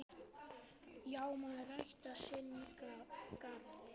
Já, maður ræktar sinn garð.